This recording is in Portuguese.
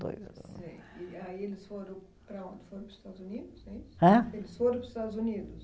Sei e aí eles foram para onde, foram para os Estados Unidos? É isso? Hã? Eles foram para os Estados Unidos?